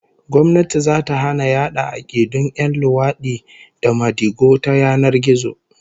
Gwamnati zata hana yada 'akidun 'yan luwadi da madigo ta yanar gizo